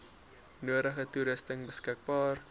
nodige toerusting beskikbaar